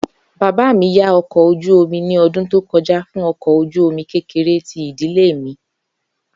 baba mi ya ọkọ oju omi ni ọdun to kọja fun ọkọ̀ ojú-omi kekere ti idile mi.